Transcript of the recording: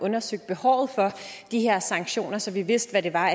undersøgt behovet for de her sanktioner så vi vidste hvad det var